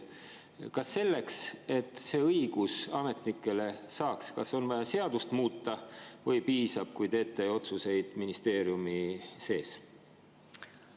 Kas selleks, et see õigus ametnikel, on vaja seadust muuta või piisab, kui teete otsuseid ministeeriumi sees?